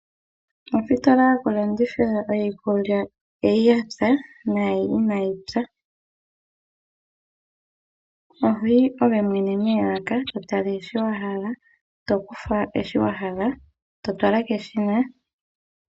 Ositola yoku landithila iikulya mbyoka yapya, naambyoka inayi pya. Ohoyi ngoye mwene moolaka, totala shoka wa hala, tokufa shoka wa hala ngoye toshi fala peshina.